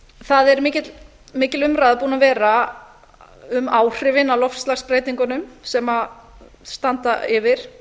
það er mikil umræða búin að vera um áhrifin af loftslagsbreytingunum sem standa yfir